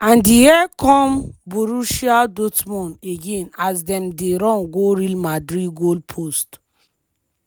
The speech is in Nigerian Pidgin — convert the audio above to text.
and here come borussia dortmund again as dem dey run go real madrid goal post.